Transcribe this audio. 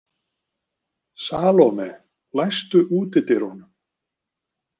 Salome, læstu útidyrunum.